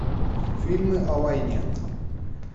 фильмы о войне